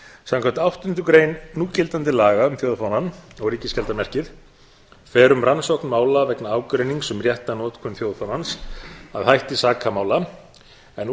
samkvæmt áttundu grein núgildandi laga um þjóðfánann og ríkisskjaldarmerkið fer um rannsókn mála vegna ágreinings um rétta notkun þjóðfánans að hætti sakamála en